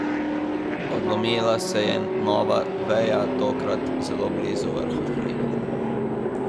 Odlomila se je nova veja, tokrat zelo blizu vrha hriba.